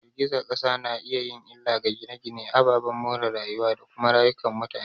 Girgizar kasa na iya yin illa ga gine-gine, ababen more rayuwa, da kuma rayukan mutane.